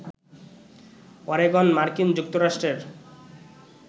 Oregon মার্কিন যুক্তরাষ্ট্রের